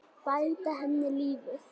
Bæta henni lífið.